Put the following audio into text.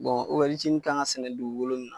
kan ka sɛnɛ dugukolo mun na